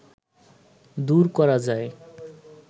দূর করা যায়